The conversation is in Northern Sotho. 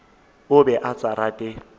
o be a sa rate